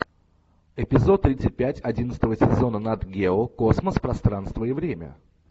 эпизод тридцать пять одиннадцатого сезона нат гео космос пространство и время